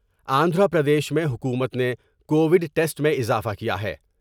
آندھرا پردیش میں حکومت نے کووڈ ٹسٹ میں اضافہ کیا ہے ۔